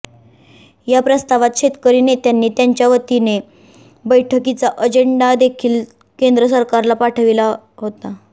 या प्रस्तावात शेतकरी नेत्यांनी त्यांच्या वतीने बैठिकाचा अजेंडा देखील केंद्र सरकारला पाठविला होता